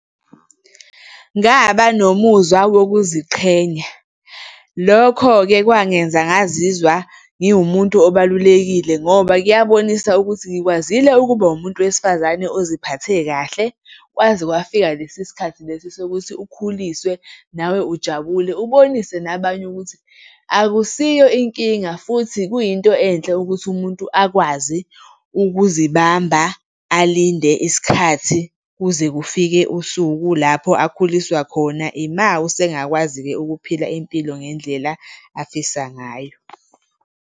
Ngaba nomuzwa wokuziqhenya, lokho-ke kwangenza ngazizwa ngiwumuntu obalulekile ngoba kuyabonisa ukuthi ngikwazile ukuba umuntu wesifazane oziphathe kahle kwaze kwafika lesi sikhathi lesi sokuthi ukhuliswe nawe ujabule, ubonise nabanye ukuthi akusiyo inkinga futhi kuyinto enhle ukuthi umuntu akwazi ukuzibamba, alinde isikhathi kuze kufike usuku lapho akhuliswa khona. Ima usengakwazi-ke ukuphila impilo ngendlela afisa ngayo.